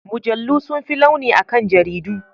Mujallu sun fi launi akan jaridu.